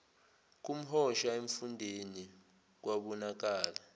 komhosha emfundeni kwabonakala